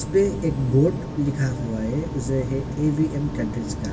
यहां पे एक बोर्ड लिखा हुआ है ए.वी.एम. कटेज का।